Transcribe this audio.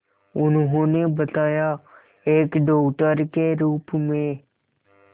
उन्होंने बताया एक डॉक्टर के रूप में